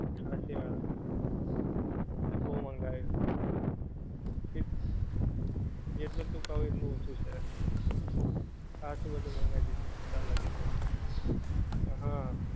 હાંચી વાત. બધુ બઉ મંગાય્વું. જેટલું તું કઉ એટલું ઓછું છે! હાંચુ બધુ મંગાવી લીધું અત્યાર લગીન તો. હા.